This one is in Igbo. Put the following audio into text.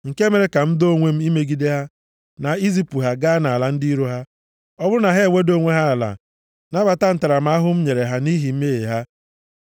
nke mere ka m doo onwe m imegide ha, na izipụ ha gaa nʼala ndị iro ha, ọ bụrụ na ha eweda onwe ha ala nabata ntaramahụhụ m nyere ha nʼihi mmehie ha